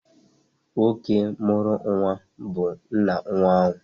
Nwoke mụrụ nnwa bu nna nnwa ahụ.